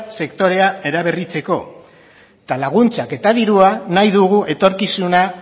sektorea eraberritzeko eta laguntzak eta dirua nahi dugu etorkizuna